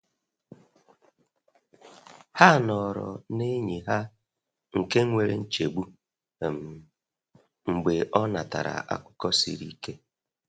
Ha nọrọ na enyi ha nke nwere nchegbu um mgbe ọ natara akụkọ siri ike.